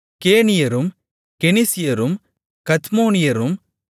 கேனியரும் கெனிசியரும் கத்மோனியரும்